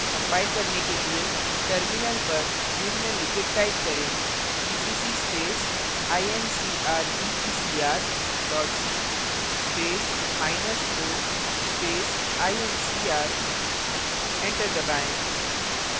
compile करने के लिए terminal पर निम्नलिखित type करें gcc space incrdecr dot c space minus o space incr enter दबाएँ